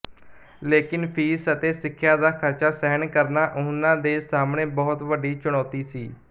ਲੇਕਿਨ ਫੀਸ ਅਤੇ ਸਿੱਖਿਆ ਦਾ ਖਰਚਾ ਸਹਿਣ ਕਰਨਾ ਉਹਨਾਂ ਦੇ ਸਾਹਮਣੇ ਬਹੁਤ ਵੱਡੀ ਚੁਣੋਤੀ ਸੀ